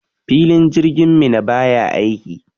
Filin jirgin Minna baya aiki.